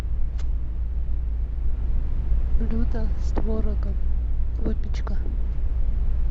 блюда с творогом выпечка